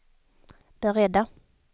beredda